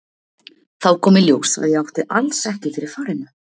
Þá kom í ljós að ég átti alls ekki fyrir farinu.